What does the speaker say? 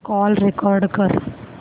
call record कर